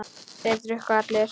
Þeir drukku allir.